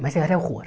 Mas eu era horror.